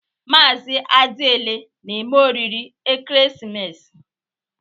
Mazị Adiele na-eme oriri ekeresimesi?